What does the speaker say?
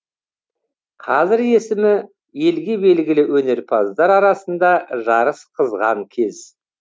қазір есімі елге белгілі өнерпаздар арасында жарыс қызған кез